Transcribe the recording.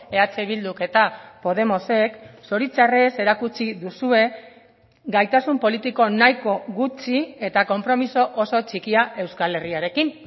eh bilduk eta podemosek zoritxarrez erakutsi duzue gaitasun politiko nahiko gutxi eta konpromiso oso txikia euskal herriarekin